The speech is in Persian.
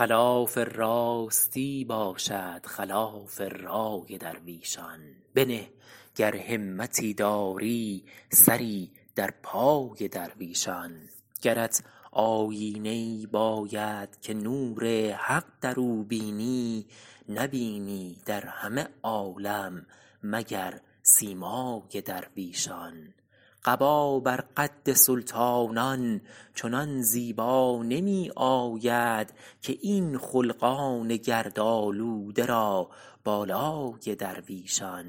خلاف راستی باشد خلاف رای درویشان بنه گر همتی داری سری در پای درویشان گرت آیینه ای باید که نور حق در او بینی نبینی در همه عالم مگر سیمای درویشان قبا بر قد سلطانان چنان زیبا نمی آید که این خلقان گردآلوده را بالای درویشان